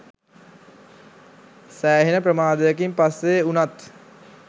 සෑහෙන ප්‍රමාදයකින් පස්සේ වුනත්